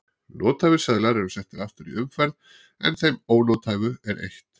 nothæfir seðlar eru settir aftur í umferð en þeim ónothæfu er eytt